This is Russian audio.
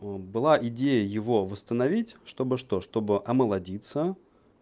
мм была идея его восстановить чтобы что чтобы омолодиться